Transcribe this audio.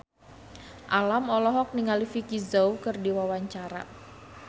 Alam olohok ningali Vicki Zao keur diwawancara